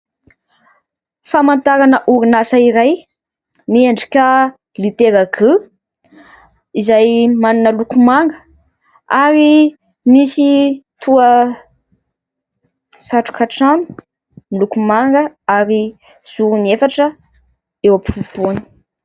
Famantarana orinasa iray miendrika litera"G" izay manana loko manga ary misy toa satroka trano miloko manga ary zorony efatra eo ampovoany.